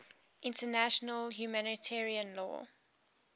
international humanitarian law